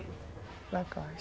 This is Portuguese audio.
Ela cai.